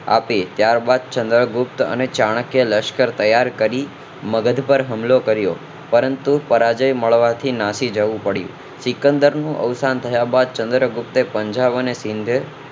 આપી ત્યારબાદ ચંદ્રગુપ્ત અને ચાણક્ય એ લશ્કર તૈયાર કરી મગધ પર હમલો કર્યો પરંતુ પરાજય મળવાથી નાશી જવું પડ્યું શીકંદર નું અવસાન થયા બાદ ચન્દ્રપુપ્તે પંજા યુક્ત સિંધે